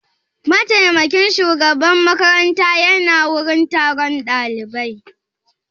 Mataimakin shugaban makaranta ya na wurin taron ɗalibai?